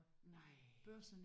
Nej